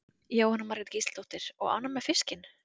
Jóhanna Margrét Gísladóttir: Og ánægð með fiskinn?